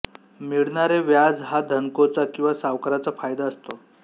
मिळणारे व्याज हा धनकोचा किंवा सावकाराचा फायदा असतो